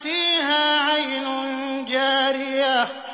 فِيهَا عَيْنٌ جَارِيَةٌ